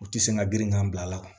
U ti se ka girin ka bila a la